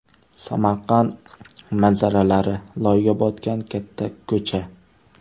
Samarqand manzaralari: Loyga botgan katta ko‘cha.